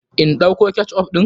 In ɗauko ketchup ɗin?